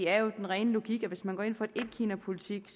er den rene logik at hvis man går ind for en etkinapolitik